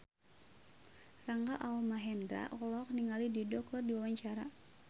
Rangga Almahendra olohok ningali Dido keur diwawancara